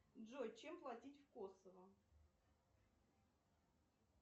джой чем платить в косово